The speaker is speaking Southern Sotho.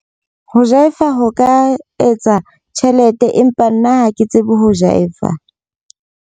Ho jive-a ho ka etsa tjhelete. Empa nna ha ke tsebe ho jive-a.